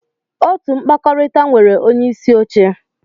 Otu mkpakọrịta nwere onyeisi oche.